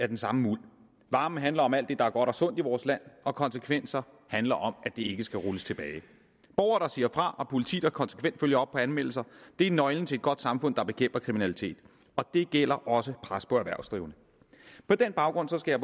den samme muld varmen handler om alt det der er godt og sundt i vores land og konsekvenser handler om at det ikke skal rulles tilbage borgere der siger fra og politi der konsekvent følger op på anmeldelser er nøglen til et godt samfund der bekæmper kriminalitet og det gælder også pres på erhvervsdrivende på den baggrund skal